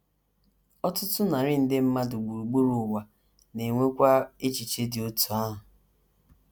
Ọtụtụ narị nde mmadụ gburugburu ụwa na - enwekwa echiche dị otú ahụ.